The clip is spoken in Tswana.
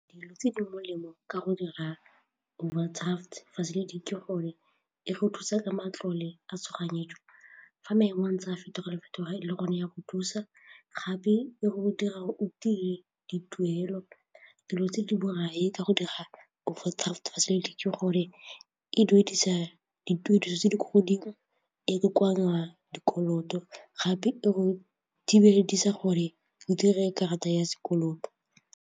Dilo tse di molemo ka go dira overdraft facility ke gore e re thusa ka matlole a tshoganyetso, fa maemo a ntse a fetoga-fetoga le gone e go thusa gape e go dira o tie dituelo, dilo tse di borai ka go dira ke gore e duedisa dituediso tse di kwa godimo, e kokoanya dikoloto gape e go di gore o dire karata ya sekoloto.